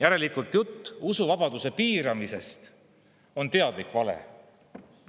Järelikult on jutt usuvabaduse piiramisest teadlik vale.